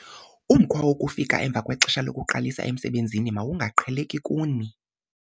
Umkhwa wokufika emva kwexesha lokuqalisa emsebenzi mawungaqheleki kuni.